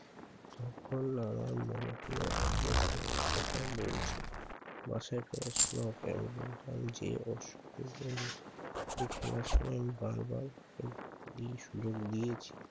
তখন আমার মনে হলো ও সত্যি কথাই বলছে । বাসায় খেলার সময় ওকে আমি বলতাম যে- ওর খেলার সময় আমি বারবার ওকে দি সুযোগ দিয়ে